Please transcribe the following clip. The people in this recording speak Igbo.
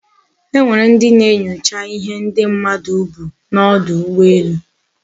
Enwere ndi na-enyocha ihe ndi mmadu bu na odu ugboelu